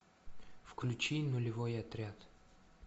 включи нулевой отряд